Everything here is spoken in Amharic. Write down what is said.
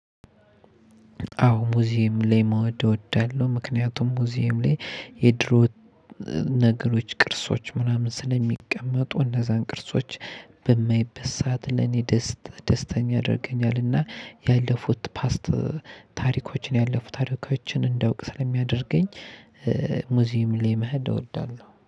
አዎ ሙዚየም ላይ መውደድ እወዳለሁ ምክንያቱም ሙዚየም ላይ የድሮ ነገሮች ቅርሶች ምናምን ስለሚቀመጡ እነዛን ቅርሶች በማይበት ሰዓት ለኔ ደስተኛ ያደርገኛል። እና ያለፉት ፓስት ታሪኮችን ያለፉት ታሪኮችን እንዳውቅ ስለሚያደርገኝ። ሙዚየም ላይ መሄድ እወዳለሁ